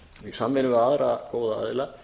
í samvinnu við aðra góða aðila